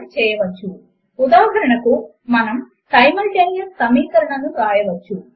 మనము సమీకరణములోని ప్రతి భాగమును విడిగా తీసుకోవచ్చు మరియు ఆయా భాగములను ఒక మాత్రిక యొక్క ఎలిమెంట్లుగా భావించవచ్చు